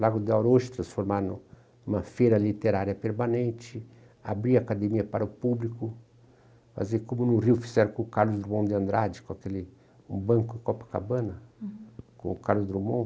Lago do Aurocho transformar no numa feira literária permanente, abrir a academia para o público, fazer como no Rio fizeram com o Carlos Drummond de Andrade, com aquele banco Copacabana, uhum, com o Carlos Drummond.